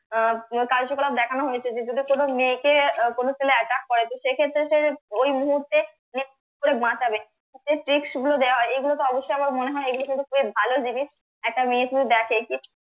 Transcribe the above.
আহ কার্যকলাপ দেখানো হয়েছে যে যদি কোনো মেয়েকে কোনো আহ কোনো ছেলে attack করে তো সেক্ষেত্রে সে ওই মুহূর্তে মানে কি করে বাঁচাবে এগুলো তো অবশ্যই আমার মনে হয় এগুলো কিন্তু খুব ভালো জিনিস একটা মেয়ে যদি দেখে যে